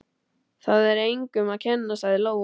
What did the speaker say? Það er engum að kenna, sagði Lóa.